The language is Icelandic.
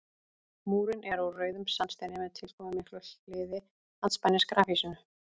Múrinn er úr rauðum sandsteini með tilkomumiklu hliði andspænis grafhýsinu.